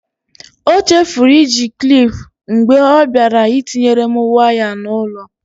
O chefuru iji klip mgbe ọ bịara ịtinyere m waya n'ụlọ.